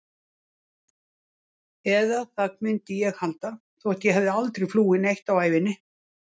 Eða það myndi ég halda, þótt ég hafi aldrei flúið neitt á ævinni.